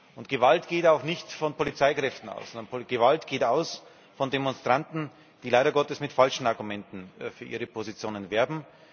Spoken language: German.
Und Gewalt geht auch nicht von Polizeikräften aus, sondern Gewalt geht von Demonstranten aus, die leider Gottes mit falschen Argumenten für ihre Positionen werben.